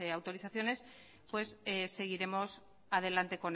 autorizaciones seguiremos adelante